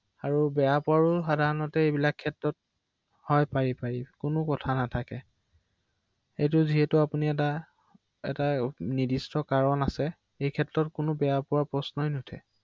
তেনেকুৱা কৰিব পাৰি নহয় জানো ৷